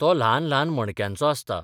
तो ल्हान ल्हान मणक्यांचो आसता.